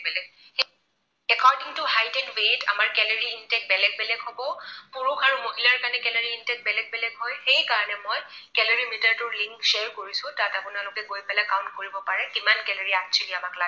আমাৰ যিটো height and weight আমাৰ calorie intake বেলেগ বেলেগ হব। পুৰুষ আৰু মহিলাৰ কাৰণে calorie intake বেলেগ বেলেগ হয়। সেইকাৰণে মই calorie meter টোৰ link share কৰিছো, তাত আপোনালোকে গৈ পেলাই count কৰিব পাৰে কিমান calorie actually আমাক লাগে।